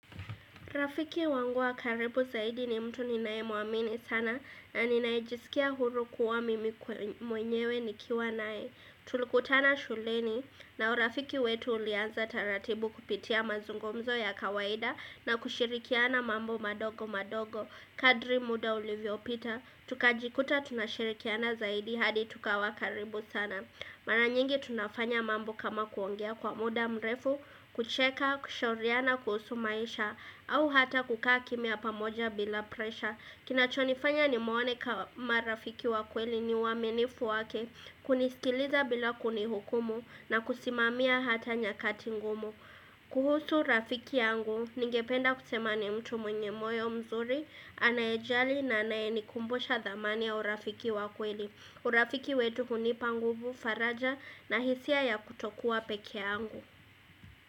Rafiki wangu wa karibu zaidi ni mtu ninaye muamini sana na ninae jisikia huru kuwa mimi kwe mwenyewe nikiwa nae Tulikutana shuleni na urafiki wetu ulianza taratibu kupitia mazungumzo ya kawaida na kushirikiana mambo madogo madogo Kadri muda ulivyopita, tukajikuta tunashirikiana zaidi hadi tukawa karibu sana Mara nyingi tunafanya mambo kama kuongea kwa muda mrefu, kucheka, kushauriana, kuhusu maisha, au hata kukaa kimya pamoja bila presha. Kinachonifanya nimwone kama rafiki wa kweli ni uamenifu wake, kunisikiliza bila kunihukumu na kusimamia hata nyakati ngumu. Kuhusu rafiki yangu, ningependa kusema ni mtu mwenye moyo mzuri, anaejali na anae nikumbusha thamani ya urafiki wa kweli. Urafiki wetu hunipa nguvu faraja na hisia ya kutokua peke yangu.